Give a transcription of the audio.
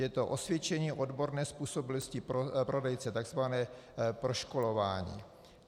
Je to osvědčení odborné způsobilosti prodejce, tzv. proškolování.